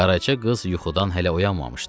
Qaraca qız yuxudan hələ oyanmamışdı.